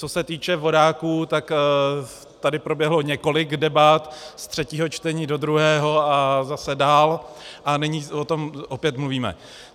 Co se týče vodáků, tak tady proběhlo několik debat, z třetího čtení do druhého a zase dál, a nyní o tom opět mluvíme.